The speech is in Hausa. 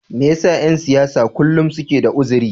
Me yasa ’yan siyasa kullum suke da arziki?